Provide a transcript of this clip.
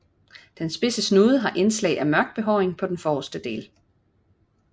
Den spidse snude har indslag af mørk behåring på den forrreste del